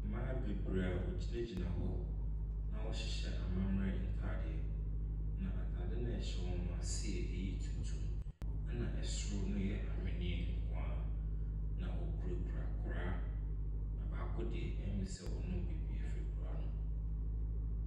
Mmaa bebree a wogyinagyina hɔ na wɔhyehyɛ amammere ntaadeɛ. Na ntaadeɛ a wɔhyɛ no ase yɛ tuntum, na soro no yɛ ahweneɛ nko ara. Na wokurakura kora. Na baako deɛ, ɛyɛ me sɛ wɔrenom biribi afi kora no mu.